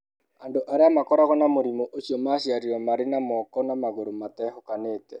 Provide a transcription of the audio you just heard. Andũ arĩa makoragwo na mũrimũ ũcio magaciarĩrũo marĩ na moko na magũrũ matehũkanĩte.